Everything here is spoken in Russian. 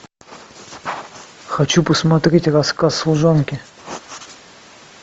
хочу посмотреть рассказ служанки